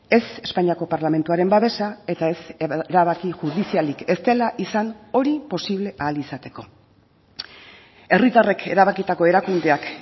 ez espainiako parlamentuaren babesa eta ez erabaki judizialik ez dela izan hori posible ahal izateko herritarrek erabakitako erakundeak